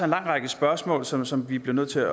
lang række spørgsmål som som vi bliver nødt til